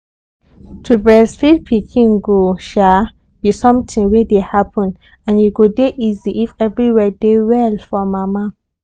to breastfeed pikin go um be something wey dey happen and e go dey easy if everywhere dey well for mama